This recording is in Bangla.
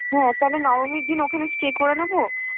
হ্যাঁ তাহলে নবমীর দিন ওখানে stay করে নেব,